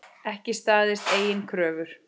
Ekki staðist eigin kröfur.